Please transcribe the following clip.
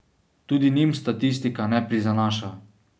Tudi njim statistika ne prizanaša.